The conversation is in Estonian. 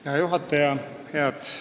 Hea juhataja!